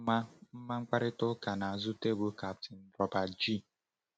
Ma Ma mkparịta ụka n’azụ tebụl Kapten Robert G.